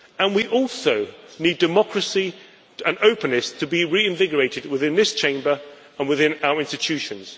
We also need democracy and openness to be reinvigorated within this Chamber and within our institutions.